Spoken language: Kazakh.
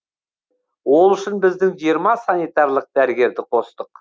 ол үшін біздің жиырма санитарлық дәрігерді қостық